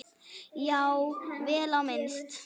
Já, vel á minnst.